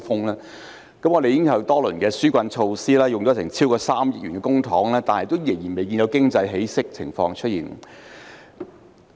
香港推出多輪紓困措施，用了超過 3,000 億元公帑，但經濟仍然未見起色。